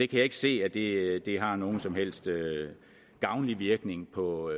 kan ikke se at det har nogen som helst gavnlig virkning på